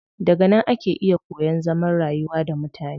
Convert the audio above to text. Daga nan ake iya koyan zaman rayuwa da mutane.